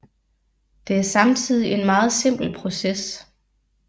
Det er samtidig en meget simpel proces